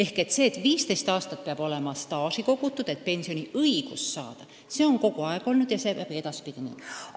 Nõue, et 15 aastat peab olema staaži kogutud, et pensioniõigust saada, on kogu aeg olnud ja see jääb ka edaspidi nii.